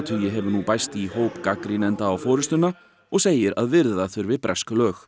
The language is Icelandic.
hefur nú bæst í hóp gagnrýnenda á forystuna og segir að virða þurfi bresk lög